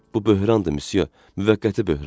Bu böhrandır, müsyo, müvəqqəti böhran.